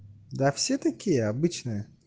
да все такие обычнные